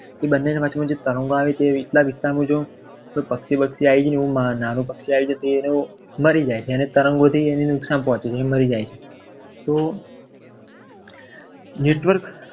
એ બંનેની વચમાં તણાવ આવે એટલા વિસ્તારમાં મુજબ કોઈ નાનું પંખી આવી જાય. કોઈ નાનું પક્ષી આવી જાય તો એનું મરી જાય છે. એને તરંગોને અને નુકસાન પહોંચે છે એ મરી જાય છે તો network